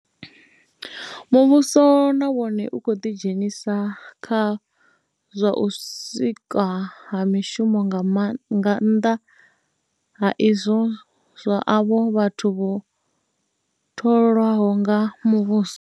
Muvhuso na wone u khou ḓidzhenisa kha zwa u sikwa ha mishumo nga nnḓa ha izwo zwa avho vhathu vho tholwaho nga muvhuso.